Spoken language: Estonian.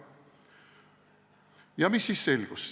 Ja mis siis selgus?